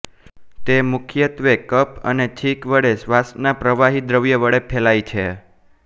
તે મુખ્યત્વે કફ અને છીંક વડે શ્વાસમાંના પ્રવાહી દ્રવ્ય વડે ફેલાય છે